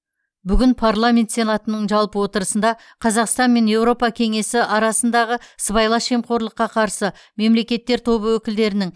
бүгін парламент сенатының жалпы отырысында қазақстан мен еуропа кеңесі арасындағы сыбайлас жемқорлыққа қарсы мелекеттер тобы өкілдерінің